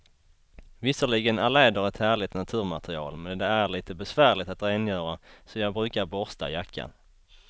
Visserligen är läder ett härligt naturmaterial, men det är lite besvärligt att rengöra, så jag brukar borsta jackan.